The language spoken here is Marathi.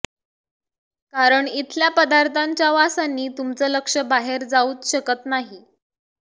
कारण इथल्या पदार्थाच्या वासांनी तुमचं लक्ष बाहेर जाऊच शकत नाही